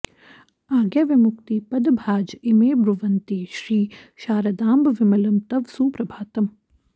आज्ञाविमुक्ति पदभाज इमे ब्रुवन्ति श्री शारदाम्ब विमलं तव सुप्रभातम्